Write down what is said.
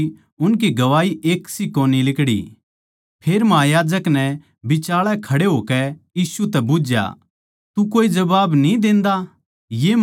फेर महायाजक नै बिचाळै खड़े होकै यीशु तै बुझ्झया तू कोए जबाब न्ही देंदा ये माणस तेरै बिरोध म्ह के गवाही देवैं सै